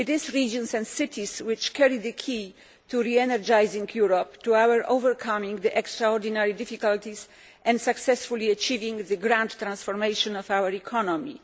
Regions and cities carry the key to re energising Europe in order to overcome its extraordinary difficulties and to successfully achieving the transformation of our economy.